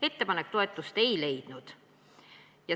Ettepanek toetust ei leidnud.